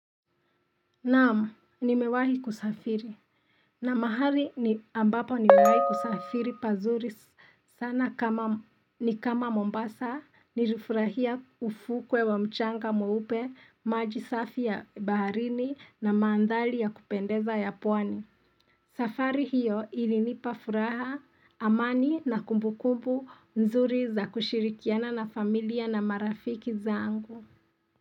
Naam, nimewahi kusafiri. Na mahali ambapo nimewahi kusafiri pazuri sana ni kama Mombasa, nilufurahia ufukwe wa mchanga mweupe, maji safi ya baharini na maandhali ya kupendeza ya pwani. Safari hiyo ilinipafuraha amani na kumbukumbu nzuri za kushirikiana na familia na marafiki zangu.